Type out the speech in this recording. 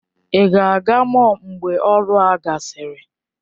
Ị ga-aga mọll mgbe ọrụ a gasịrị?